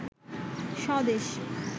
স্বদেশ